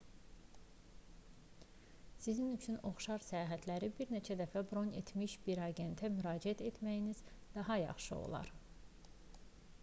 sizin üçün oxşar səyahətləri bir neçə dəfə bron etmiş bir agentə müraciət etməyiniz daha yaxşı olar